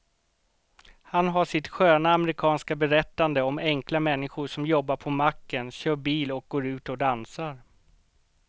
Han har sitt sköna amerikanska berättande om enkla människor som jobbar på macken, kör bil och går ut och dansar.